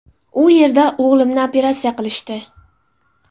U yerda o‘g‘limni operatsiya qilishdi.